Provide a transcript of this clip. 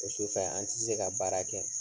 O su fɛ an ti se ka baara kɛ.